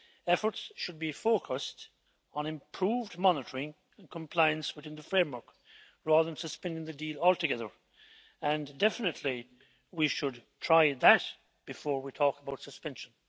Efforts should be focused on improved monitoring of compliance within the framework, rather than suspending the deal altogether and definitely we should try that before we talk about suspension.